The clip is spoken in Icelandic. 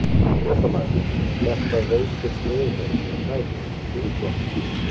Fréttamaður: En þetta veikir stöðu þeirra, er það ekki, í þingflokknum?